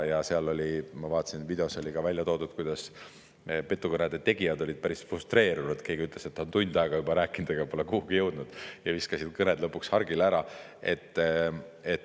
Ja seal, ma vaatasin, oli videos ka välja toodud, kuidas petukõnede tegijad olid päris frustreerunud – keegi ütles, et ta on tund aega juba rääkinud, aga pole kuhugi jõudnud – ja viskasid lõpuks hargile ära.